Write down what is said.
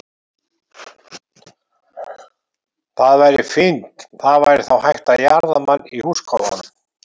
Það væri fínt, það væri þá hægt að jarða mann í húskofanum.